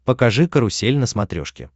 покажи карусель на смотрешке